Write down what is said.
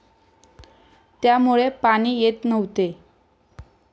त्यामुळे पाणी येत नव्हते.